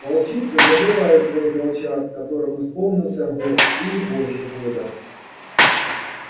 волчицы забывают своих волчат которым исполнился год или больше года